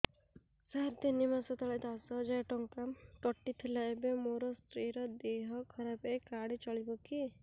ସାର ତିନି ମାସ ତଳେ ଦଶ ହଜାର ଟଙ୍କା କଟି ଥିଲା ଏବେ ମୋ ସ୍ତ୍ରୀ ର ଦିହ ଖରାପ ଏ କାର୍ଡ ଚଳିବକି